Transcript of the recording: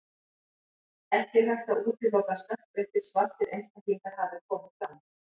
Ekki er hægt að útiloka að stökkbreyttir, svartir einstaklingar hafi komið fram.